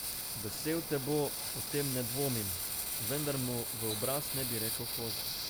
Vesel te bo, o tem ne dvomim, vendar mu v obraz ne bi rekel kozel.